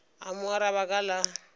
a mo araba ka la